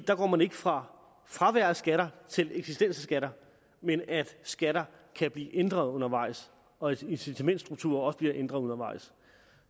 der går man ikke fra fravær af skatter til eksisterende skatter men at skatter kan blive ændret undervejs og at incitamentsstrukturer også bliver ændret undervejs